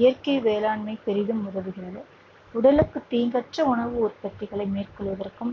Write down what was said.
இயற்கை வேளாண்மை பெரிதும் உதவுகிறது உடலுக்கு தீங்கற்ற உணவு உற்பத்திகளை மேற்கொள்வதற்கும்